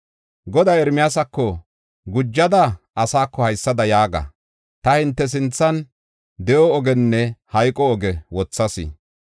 Goday Ermiyaasako, “Gujada asaako haysada yaaga: ta hinte sinthan de7o ogiyanne hayqo ogiya wothas.